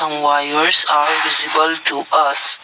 wires are visible to us.